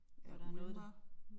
Hvor der noget